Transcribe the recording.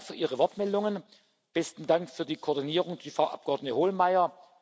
Besten Dank für Ihre Wortmeldungen, besten Dank für die Koordinierung der Frau Abgeordneten Hohlmeier.